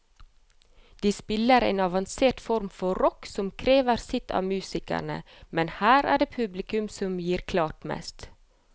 De spiller en avansert form for rock som krever sitt av musikerne, men her er det publikum som gir klart mest.